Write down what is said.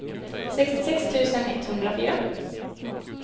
sextiosex tusen etthundrafyra